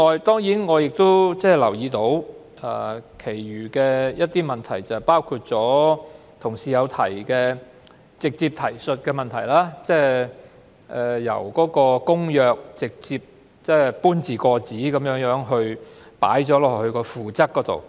此外，我亦留意到一些其他問題，包括同事直接提述的問題，例如由《公約》直接搬字過紙加入附則。